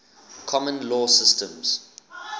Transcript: common law systems